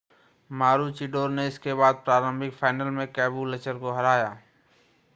मारूचिडोर ने इसके बाद प्रारंभिक फाइनल में कैबुलचर को हराया